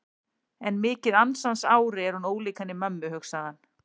En mikið ansans ári er hún ólík henni mömmu, hugsaði hann.